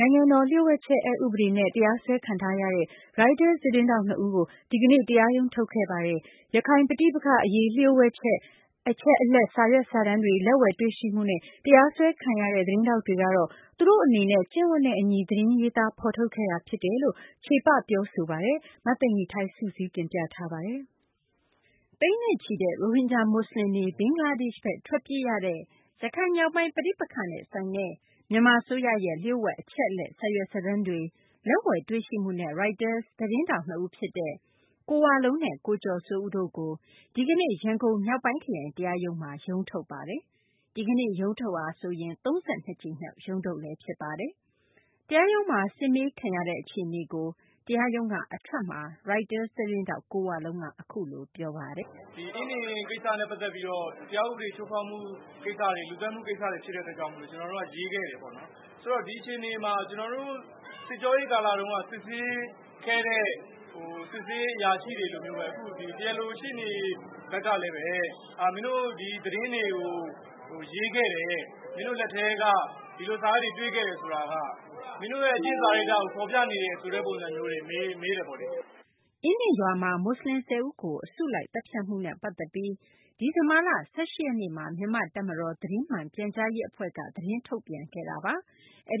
နိုင်ငံတော် လျှို့ဝှက်ချက် အက်ဥပဒေနဲ့ တရားစွဲခံထားရတဲ့ ရိုက်တာ သတင်းထောက် ၂ ဦးကို ဒီကနေ့ တရားရုံး ထုတ်ခဲ့ပါတယ်။ ရခိုင်ပဋိပက္ခ အရေး လျှို့ဝှက် အချက်အလက် စာရွက်စာတမ်းတွေ လက်ဝယ်တွေ့ရှိမှုနဲ့ တရားစွဲခံရတဲ့ သတင်းထောက်တွေကတော့ သူတို့ အနေနဲ့ ကျင့်ဝတ်နဲ့ အညီ သတင်းရေးသား ဖော်ထုတ်ခဲ့တာ ဖြစ်တယ်လို့ ချေပ ပြောဆိုပါတယ်။ မသိင်္ဂ ီထိုက် စုစည်းတင်ပြထားပါတယ်။ သိန်းနဲ့ချီတဲ့ ရိုဟင်ဂျာ မူဆလင်တွေ ဘင်္ဂလားဒေရှ့်ဘက် ထွက်ပြေးရတဲ့ ရခိုင်မြောက်ပိုင်း ပဋိပက္ခနဲ့ ဆိုင်တဲ့ မြန်မာ အစိုးရရဲ့ လျှို့ဝှက် အချက်အလက် စာရွက်စာတမ်းတွေ လက်ဝယ်တွေ့ရှိမှုနဲ့ ရိုက်တာ သတင်းထောက် နှစ်ဦးဖြစ်တဲ့ ကိုဝလုံးနဲ့ ကိုကျော်စိုးဦးတို့ကို ဒီကနေ့ ရန်ကုန် မြောက်ပိုင်းခရိုင် တရားရုံးမှာ ရုံးထုတ်ပါတယ်။ ဒီကနေ့ရုံးထုတ်တာဟာဆိုရင် ၃၂ ကြိမ်မြောက် ရုံးထုတ်ပါ။ တရားရုံးမှာ စစ်မေးခံရတဲ့ အခြေအနေကို တရားရုံးက အထွက်မှာ ရိုက်တာ သတင်းထောက် ကိုဝလုံးက အခုလို ပြောခဲ့ပါတယ်။ "ဒီကိစ္စနဲ့ ပတ်သက်ပြီးတော့ တရားဥပဒေချိုးဖောက်မှု ၊ လူသတ်မှု ဖြစ်တဲ့ကိစ္စတွေဖြစ်တဲ့အတွက် ကျနော်တို့က ရေးခဲ့တယ်ပေါ့နော်။ ဆိုတော့ ဒီအခြေအနေမှာ ကျနော်တို့ စစ်ကျောရေးကာလတုန်းက စစ်ဆေးခဲ့တဲ့ စစ်ဆေးရေးအရာရှိတွေလိုမျိုးပဲ တရားလိုရှေ့နေဘက်ကလည်း မင်းတို့ ဒီသတင်းတွေကို ရေးခဲ့တယ်၊ မင်းတို့ လက်ထဲက ဒီလိုစာရွက်တွေ တွေ့ခဲ့တယ်ဆိုတာက မင်းတို့ အကျင့်တွေဖော်ပြနေတယ်ဆိုတာမျိုးတွေ မေးတယ်ပေါ့လေ။" အင်းဒင်ရွာမှာ မူဆလင် ၁၀ ဦးကို အစုလိုက် သတ်ဖြတ်မှုကို ဒီဇင်ဘာလ ၁၈ ရက်နေ့မှာ မြန်မာ့တပ်မတော် သတင်းမှန် ပြန်ကြားရေး အဖွဲ့က သတင်းထုတ်ပြန်ခဲ့